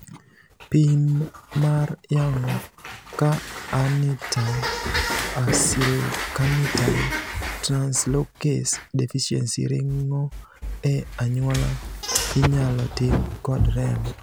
Pim mar yango ka arnitine acylcarnitine translocase deficiency ringo e anyuola inyalotim kod remo.